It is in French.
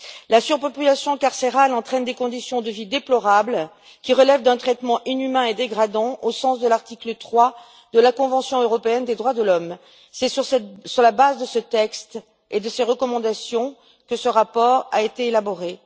La surpopulation carcérale entraîne des conditions de vie déplorables qui relèvent d'un traitement inhumain et dégradant au sens de l'article 3 de la convention européenne des droits de l'homme. C'est sur la base de ce texte et de ses recommandations que ce rapport a été élaboré.